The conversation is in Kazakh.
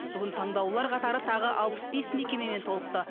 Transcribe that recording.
бүгін таңдаулылар қатары тағы алпыс бес мекемемен толықты